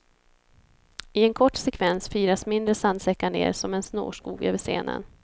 I en kort sekvens firas mindre sandsäckar ner som en snårskog över scenen.